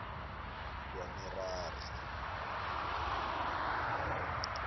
kwamerari